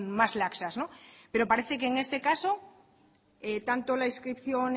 más laxas pero parece que en este caso tanto la inscripción